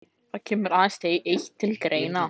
Það kemur aðeins eitt til greina.